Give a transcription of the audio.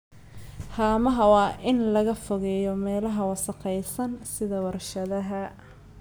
Haamaha waa in laga fogeeyo meelaha wasakhaysan sida warshadaha.